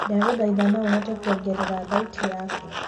ndagũthaĩtha no uhote kuongerera thaũtĩ yaku